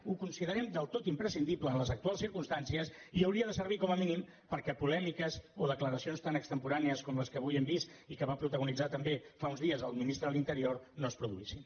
ho considerem del tot imprescindible en les actuals circumstàncies i hauria de servir com a mínim perquè polèmiques o declaracions tan extemporànies com les que avui hem vist i que va protagonitzar també fa uns dies el ministre de l’interior no es produïssin